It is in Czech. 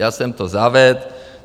Já jsem to zavedl.